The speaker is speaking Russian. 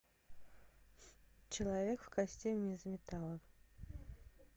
человек в костюме из металла